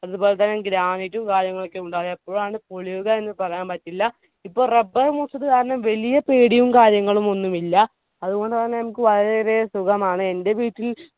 അതുപോലെതന്നെ granite ഉം കാര്യങ്ങളൊക്കെ ഉണ്ട് അത് എപ്പോഴാണ് പൊളിയുക എന്ന് പറയാൻ പറ്റില്ല. ഇപ്പൊ rubber മൂത്തത് കാരണം വലിയ പേടിയും കാര്യങ്ങളുമൊന്നും ഇല്ല അതുകൊണ്ടുതന്നെ നമ്മുക്ക് വളരെ ഏറെ സുഖമാണ് എന്റെ വീട്ടിൽ